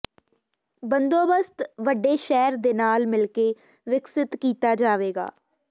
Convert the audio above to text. ਬੰਦੋਬਸਤ ਵੱਡੇ ਸ਼ਹਿਰ ਦੇ ਨਾਲ ਮਿਲ ਕੇ ਵਿਕਸਿਤ ਕੀਤਾ ਜਾਵੇਗਾ